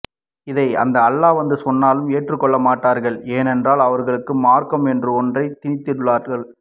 இதை அந்த அல்லா வந்து சொன்னாலும் ஏற்றுக்கொள்ள மாட்டார்கள் ஏனென்றால் அவர்களுக்கு மார்க்கம் என்ற ஒன்றை திணித்துள்ளார்கள்